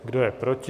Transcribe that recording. Kdo je proti?